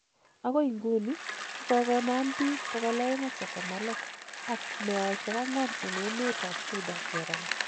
Agoi inguni kogogonam biik 236 ak meosiek angwan en emet ab Suda cherongo.